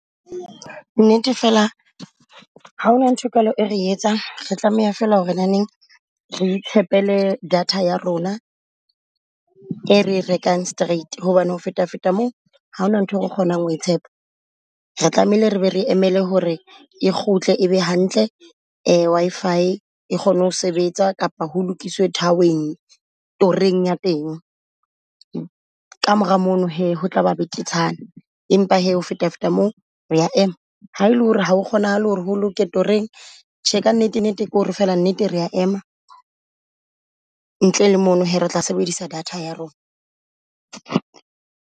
Nnete fela ha hona nthwe jwalo e re etsang. Re tlameha fela hore na neng re tshepele data ya rona ere rekang straight. Hobane ho feta feta moo ha hona nthwe re kgonang hoe tshepa re tlamehile re be re emele hore e kgutle e be hantle Wi-Fi. E kgone ho sebetsa kapa ho lokise tower-eng toreng ya teng ka mora mono hee ho tlaba betetshana. Empa hee ho feta feta moo, hoya ema ha ele hore ha o kgonahale hore ho lokela toreng tjhe ka nnete nnete kore fela nnete, rea ema. Ntle le mono hee re tla sebedisa data ya rona.